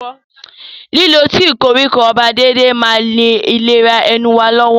Lílo tíì koríko ọba déédéé máa ń ìlera ẹnu wa lọ́wọ́.